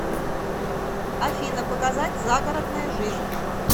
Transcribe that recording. афина показать загородная жизнь